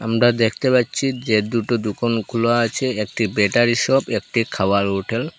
আমরা দ্যাখতে পাচ্ছি যে দুটো দুকান খোলা আছে একটি ব্যাটারি শপ একটি খাওয়ার হোটেল ।